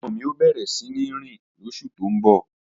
Ọmọ mi ó bẹ̀rẹ̀ síní rìn lóṣù tó ń bọ̀